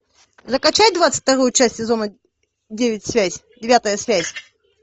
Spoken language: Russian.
закачай двадцать вторую часть сезона девять связь девятая связь